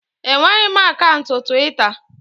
Enweghị m akaụntụ Twita